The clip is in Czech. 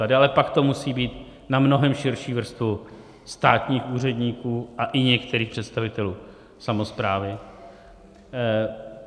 A dále pak to musí být na mnohem širší vrstvu státních úředníků a i některých představitelů samosprávy.